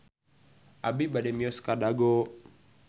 Abi bade mios ka Dago